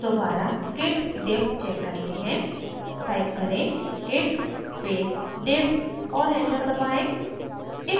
दोबारा git diff check करते हैं टाइप करें git space diff और enter दबाएँ